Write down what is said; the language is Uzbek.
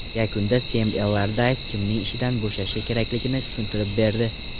Yakunda Sem Ellardays kimning ishdan bo‘shashi kerakligini tushuntirib berdi.